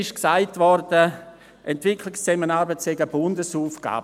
Es wurde gesagt, Entwicklungszusammenarbeit sei eine Bundesaufgabe.